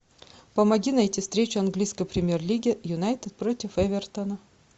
помоги найти встречу английской премьер лиги юнайтед против эвертона